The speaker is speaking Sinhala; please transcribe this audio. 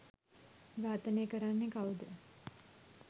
ඝාතනය කරන්නෙ කවුද?